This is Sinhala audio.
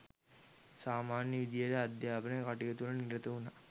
සාමාන්‍ය විදිහට අධ්‍යාපන කටයුතුවල නිරත වුණා.